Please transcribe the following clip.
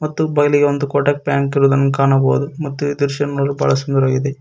ಮತ್ತು ಬಯಲಿಗೆ ಒಂದು ಕೋಟಕ್ ಬ್ಯಾಂಕ್ ಇರುವುದನ್ನು ಕಾಣಬೋದು ಮತ್ತು ಈ ದೃಶ್ಯವನ್ನು ನೋಡಲು ಬಹಳ ಸುಂದರವಾಗಿದೆ.